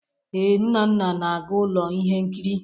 Ee, Nnanna na-aga ụlọ ihe nkiri.